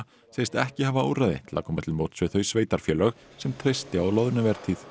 segist ekki hafa úrræði til að koma til móts við þau sveitarfélög sem treysti á loðnuvertíð